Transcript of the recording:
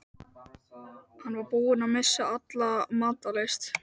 Hann var búinn að missa alla matar lyst.